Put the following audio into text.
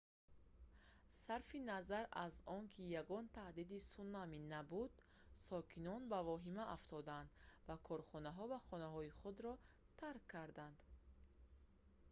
сарфи назар аз он ки ягон таҳдиди сунамӣ набуд сокинон ба вохима афтоданд ва корхонаҳо ва хонаҳои худро тарк кардан